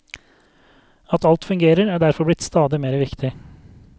At alt fungerer er derfor blitt stadig mere viktig.